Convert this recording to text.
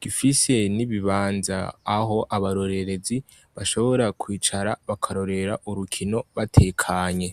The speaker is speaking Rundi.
gifise n' ibibanza aho abarorezi bashobora kwicara bakarorera urukino batekanye.